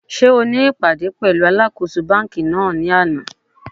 Sé o ní ìpàdé pẹ̀lúu alákōso banki náà lánàá?